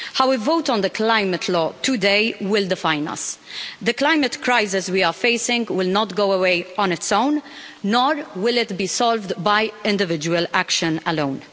How we vote on the climate law today will define us. The climate crisis we are facing will not go away on its own, nor will it be solved by individual action alone.